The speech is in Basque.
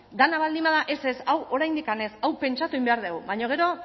dena baldin bada ez ez hau oraindik ez hau pentsatu egin behar dugu baina gero